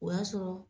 O y'a sɔrɔ